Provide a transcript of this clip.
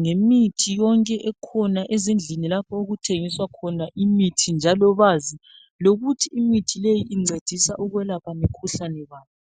ngemithi yonke ekhona ezindlini lapha okuthengiswa khona imithi njalo bazi lokuthi imithi leyi incedisa ukwelapha mikhuhlane bani.